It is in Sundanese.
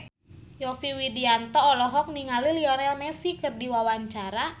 Yovie Widianto olohok ningali Lionel Messi keur diwawancara